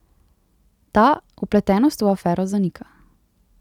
Ta vpletenost v afero zanika.